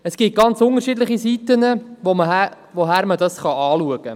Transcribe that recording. Es gibt ganz unterschiedliche Blickwinkel, aus welchen man dies betrachten kann.